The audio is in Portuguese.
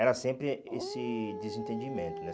Era sempre esse desentendimento, né?